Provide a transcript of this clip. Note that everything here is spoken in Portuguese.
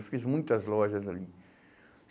Eu fiz muitas lojas ali.